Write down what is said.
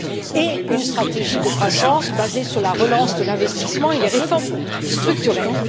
et une stratégie de croissance basée sur la relance de l'investissement et les réformes structurelles.